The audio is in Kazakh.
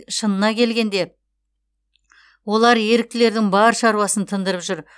шынына келгенде олар еріктілердің бар шаруасын тындырып жүр